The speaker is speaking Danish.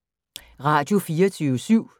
Radio24syv